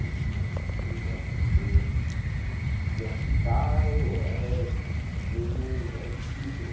Desde moleque eu grafito... Grafitar oh eh mesmo é difícil.